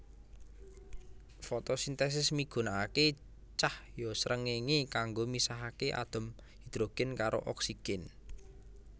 Fotosintesis migunakaké cahya srengéngé kanggo misahaké atom hidrogen karo oksigen